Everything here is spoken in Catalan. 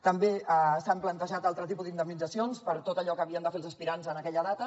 també s’han plantejat altres tipus d’indemnitzacions per tot allò que havien de fer els aspirants en aquella data